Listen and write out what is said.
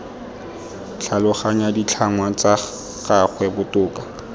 tlhaloganya ditlhangwa tsa gagwe botoka